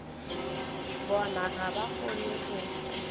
bona ga ba kgone go